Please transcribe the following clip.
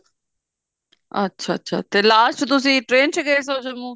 ਅੱਛਾ ਅੱਛਾ ਤੇ last ਤੁਸੀਂ train ਚ ਗਏ ਸਨ ਜੰਮੂ